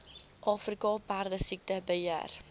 afrika perdesiekte beheer